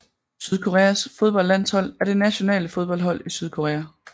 Sydkoreas fodboldlandshold er det nationale fodboldhold i Sydkorea